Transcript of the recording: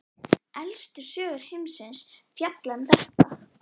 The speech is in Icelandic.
Elstu sögur heimsins fjalla um þetta.